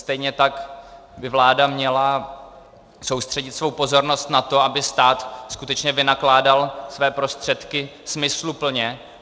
Stejně tak by vláda měla soustředit svou pozornost na to, aby stát skutečně vynakládal své prostředky smysluplně.